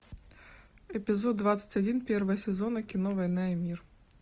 эпизод двадцать один первого сезона кино война и мир